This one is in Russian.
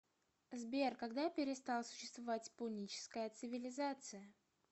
сбер когда перестал существовать пуническая цивилизация